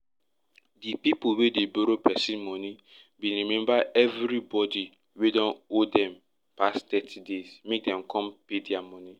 di pipu wey dey borrow pesin money bin remind everybody wey don owe dem pass thirty days make dem come pay dia money